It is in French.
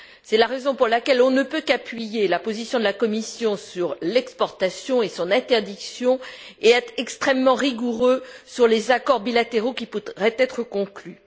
C'est la raison pour laquelle on ne peut qu'appuyer la position de la Commission sur l'exportation et sur l'interdiction et être extrêmement rigoureux sur les accords bilatéraux qui pourraient être conclus.